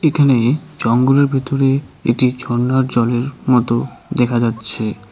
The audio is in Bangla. এখানে জঙ্গলের ভিতরে একটি ঝর্নার জলের মতো দেখা যাচ্ছে।